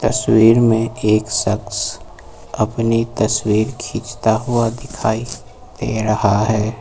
तस्वीर में एक शख्स अपनी तस्वीर खींचता हुआ दिखाई दे रहा है।